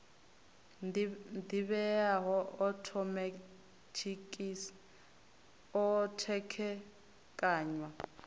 ḓivheaho a othomethikhi o khethekanywa